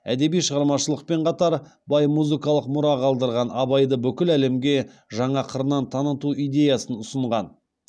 әдеби шығармашылықпен қатар бай музыкалық мұра қалдырған абайды бүкіл әлемге жаңа қырынан таныту идеясын ұсынған